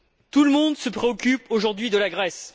Tout le monde se préoccupe aujourd'hui de la Grèce.